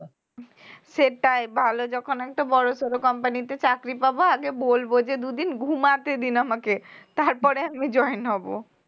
সেটাই ভালো যখন আমি তো বড়সরো company তে চাকরি পাবো আগে বলব যে দুই দিন ঘুমাতে দিন আমাকে তারপরে আমি join হব